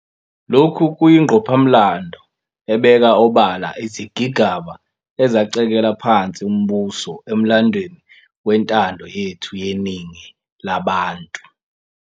Lokhu kuyingqophamlando ebeka obala izigigaba ezacekela phansi umbuso emlandweni wentando yethu yeningi labantu.